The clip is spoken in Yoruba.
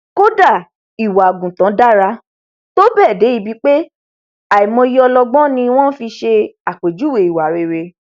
kódà ìwà àgùntàn dára tó bẹẹ dé ibi pé àìmọyé ọlọgbọn ni wọn fi ṣe àpèjúwèé ìwà rere